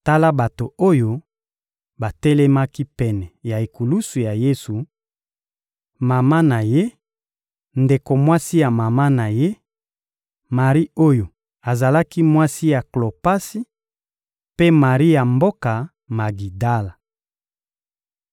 Tala bato oyo batelemaki pene ya ekulusu ya Yesu: Mama na Ye, ndeko mwasi ya mama na Ye, Mari oyo azalaki mwasi ya Klopasi, mpe Mari ya mboka Magidala.